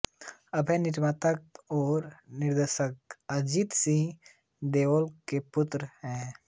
अभय निर्माता और निर्देशक अजीत सिंह देओल के पुत्र हैं